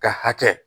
Ka hakɛ